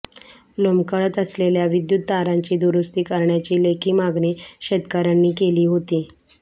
लोंबकळत असलेल्या विद्युत तारांची दुरुस्ती करण्याची लेखी मागणी शेतकऱ्यांनी केली होती